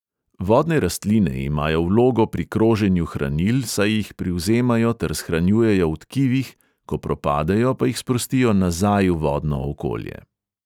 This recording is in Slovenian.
Vodne rastline imajo vlogo pri kroženju hranil, saj jih privzemajo ter shranjujejo v tkivih, ko propadejo, pa jih sprostijo nazaj v vodno okolje.